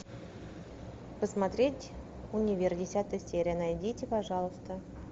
посмотреть универ десятая серия найдите пожалуйста